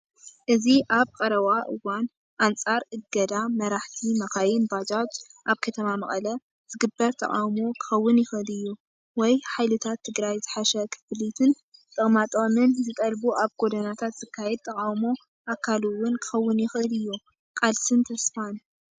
እዚ ኣብ ቀረባ እዋን ኣንጻር እገዳ መራሕቲ መካይን ባጃጅ ኣብ ከተማ መቐለ ዝግበር ተቓውሞ ክኸውን ይኽእል እዩ። ወይ ሓይልታት ትግራይ ዝሓሸ ክፍሊትን ጥቕማጥቕምን ዝጠልቡ ኣብ ጎደናታት ዝካየድ ተቓውሞ ኣካል እውን ክኸውን ይኽእል እዩ። ቃልስን ተስፋን!